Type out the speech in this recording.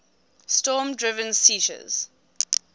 storm driven seiches